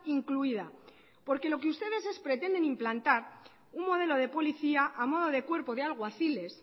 incluida porque lo que ustedes es pretenden implantar un modelo de policía a modo de cuerpo de alguaciles